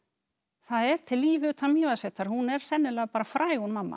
það er til líf utan Mývatnssveitar hún er sennilega bara fræg hún mamma